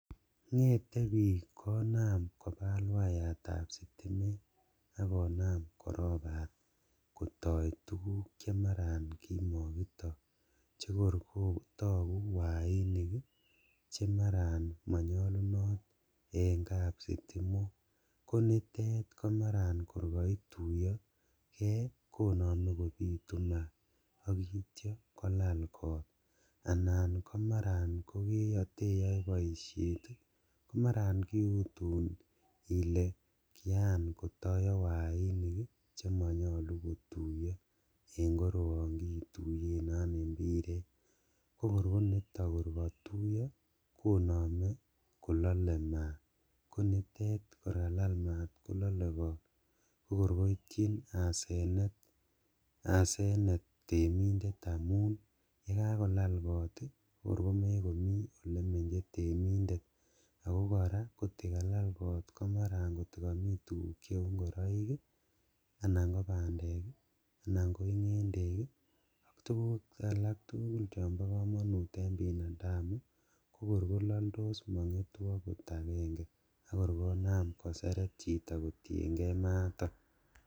Ngete bik konam kobal waiyatab sitimet ak konam korobat kotoi tuguk kotoi tuguk chemaran kimokitoi chekor kotoguk wainik chemaran monyolunot en kapsitimok konitet komaran kor koituyokee konome kobitu maat ak ityo kolal koot, anan komaran koteype boishet ii komaran kiutun ile kian kotoyo wainik ii chemonyolu kotuiyo en koroon imbiret, kokor koniton korkotuiyo konome kolole maat konitet kor kanam maat kolole kot kokor koityin asenet, asenet temindet amun yekakolal kot ii kokor komekomi elemenye temindet ako koraa kotikalal kot komaran kotikomi tuguk cheu ingoroik ii anan kobandek ii, anan koingendek ii ok tuguk alak tugul chobo komonut en binadamu ii kokor kololtos mongetu okot agenge akor konam koseret chito kotiengee maaton.